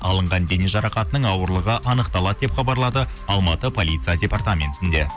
алынған дене жарақатының ауырлығы анықталады деп хабарлады алматы полиция департаментінде